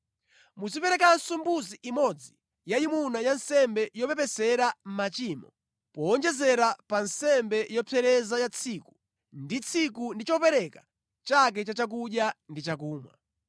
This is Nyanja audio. Muziperekanso mbuzi imodzi yayimuna ya nsembe yopepesera machimo, powonjezera pa nsembe yopsereza ya tsiku ndi tsiku ndi chopereka chake cha chakudya ndi chakumwa.